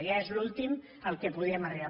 ja és l’últim a què podíem arribar